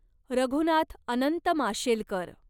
Raghunath Anant Mashelkar